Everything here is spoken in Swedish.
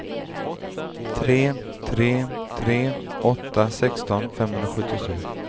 tre tre tre åtta sexton femhundrasjuttiosju